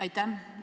Aitäh!